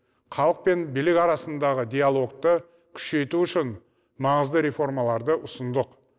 халық пен билік арасындағы диалогты күшейту үшін маңызды реформаларды ұсындық